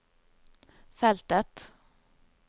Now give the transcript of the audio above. feltet